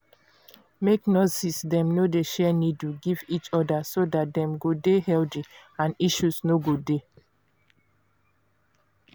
make nurses dem no dey share needle give each other so dat dem go dey healthy and issue no go dey